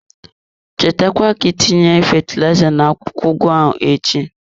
Cheta kwa ka itinye fatilaiza na-akwụkwọ ugu ahụ echi.